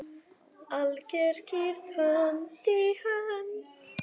Alger kyrrð, hönd í hönd.